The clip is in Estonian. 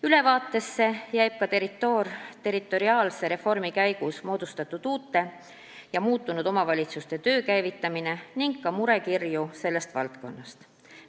Ülevaates on juttu ka haldusterritoriaalse reformi käigus moodustatud uute ja muutunud omavalitsuste töö käivitamisest, mis on murekirju toonud.